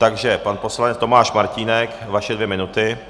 Takže pan poslanec Tomáš Martínek, vaše dvě minuty.